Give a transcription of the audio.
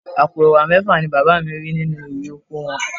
Àpò Ẹ̀wà mẹ́fà ni bàbá mi rí nínú irè oko wọn